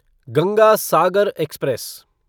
Ganga Sagar express